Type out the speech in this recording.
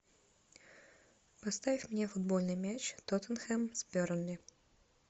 поставь мне футбольный матч тоттенхэм с бернли